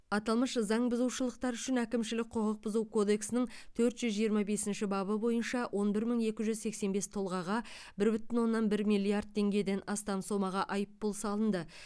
аталмыш заңбұзушылықтар үшін әкімшілік құқық бұзу кодексінің төрт жүз жиырма бесінші бабы бойынша он бір мың екі жүз сексен бес тұлғаға бір бүтін оннан бір миллиард теңгеден астам сомаға айыппұл салынды